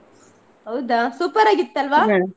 ಹೌದಾ super ಆಗಿತ್ತಲ್ವಾ?